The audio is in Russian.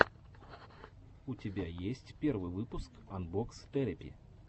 у тебя есть первый выпуск анбокс терэпи